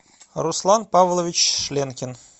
руслан павлович шленкин